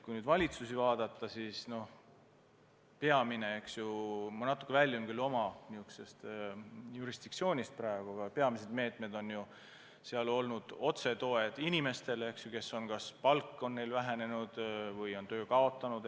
Kui nüüd valitsusi vaadata, siis peamised meetmed – ma natuke küll väljun praegu oma jurisdiktsioonist – on olnud otsetoetused inimestele, kellel on kas palk vähenenud või kes on töö kaotanud.